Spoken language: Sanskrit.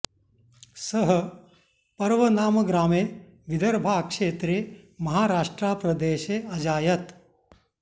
सः पर्व नाम ग्रामे विदर्भा क्षेत्रे महाराष्ट्रा प्रदेशे अजायत